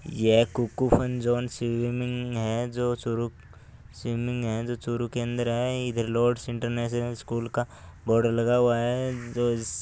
यह Kukku fun zone swimming है जो स्विमिंग है चुरू केंद्र है लॉड्स इंटरनेशनल स्कूल का बोर्ड लगा हुआ है। जो--